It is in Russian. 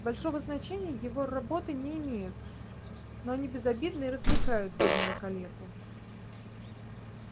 большого значения его работы не имеют но они безобидны и развлекают бедного калеку